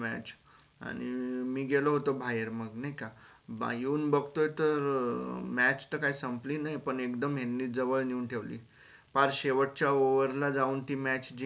आणि मी गेलो होते बाहेर मग नाही का बा येवून बघतो तर match तर काय संपली नाई पण एकदम जवळ नेवून ठेवली पार शेवट च्या over ला जावून ती match जिंकली